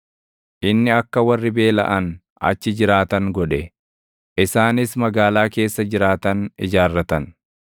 inni akka warri beelaʼan achi jiraatan godhe; isaanis magaalaa keessa jiraatan ijaarratan.